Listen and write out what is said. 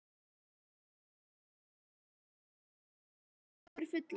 Lillý Valgerður Pétursdóttir: Tunnurnar yfirfullar?